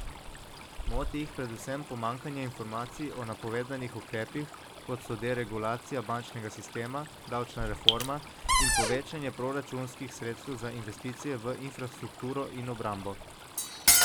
Moti jih predvsem pomanjkanje informacij o napovedanih ukrepih, kot so deregulacija bančnega sistema, davčna reforma in povečanje proračunskih sredstev za investicije v infrastrukturo in obrambo.